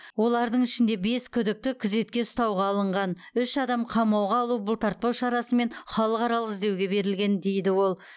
олардың ішінде бес күдікті күзетке ұстауға алынған үш адам қамауға алу бұлтартпау шарасымен халықаралық іздеуге берілген дейді ол